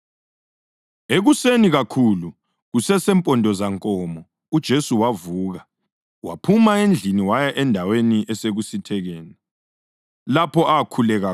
Ekuseni kakhulu, kusesempondozankomo, uJesu wavuka, waphuma endlini waya endaweni esekusithekeni, lapho akhuleka khona.